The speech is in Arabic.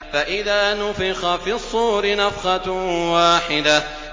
فَإِذَا نُفِخَ فِي الصُّورِ نَفْخَةٌ وَاحِدَةٌ